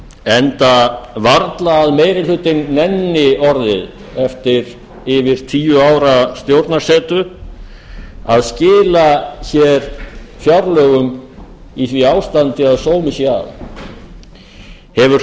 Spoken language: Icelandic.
enda varla að meiri hlutinn nenni orðið eftir yfir tíu ára stjórnarsetu að skila fjárlögum í því ástandi að sómi sé að hefur